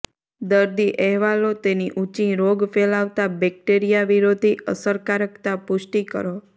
દર્દી અહેવાલો તેની ઊંચી રોગ ફેલાવતા બેક્ટેરિયા વિરોધી અસરકારકતા પુષ્ટિ કરો